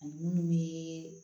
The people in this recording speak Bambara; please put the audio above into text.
Ani munnu ye